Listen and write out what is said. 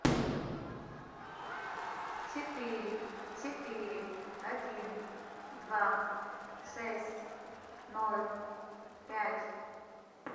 четыре четыре один два шесть ноль пять